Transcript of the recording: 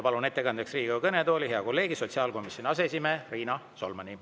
Palun ettekandeks Riigikogu kõnetooli hea kolleegi, sotsiaalkomisjoni aseesimehe Riina Solmani.